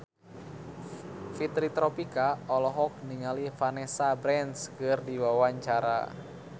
Fitri Tropika olohok ningali Vanessa Branch keur diwawancara